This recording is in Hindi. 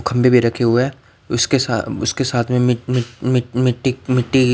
खंभे भी रखे हुए हैं उसके साथ उसके साथ में मिट मिट मिट मिट्टी मिट्टी --